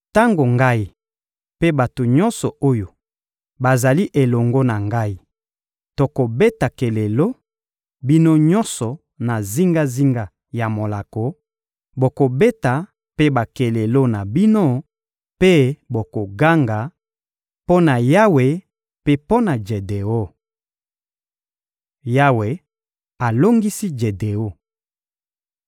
Tango ngai mpe bato nyonso oyo bazali elongo na ngai tokobeta kelelo, bino nyonso, na zingazinga ya molako, bokobeta mpe bakelelo na bino mpe bokoganga: ‹Mpo na Yawe mpe mpo na Jedeon.›» Yawe alongisi Jedeon